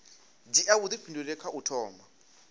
dzhia vhuifhinduleli kha u thoma